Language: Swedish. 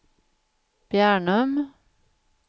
Bjärnum